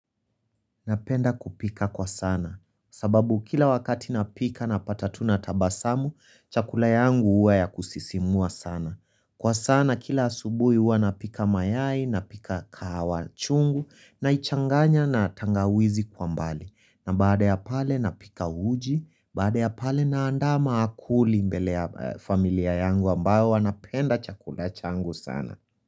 Napenda kupika kwa sana. Sababu kila wakati napika napata tu natabasamu, chakula yangu huwa ya kusisimua sana. Kwa sana kila asubuhi huwa napika mayai, napika kahawa chungu, naichanganya na tangawizi kwa mbali. Na baada ya pale napika uji, baada ya pale naandama akuli mbele ya familia yangu ambayo wanapenda chakula changu sana.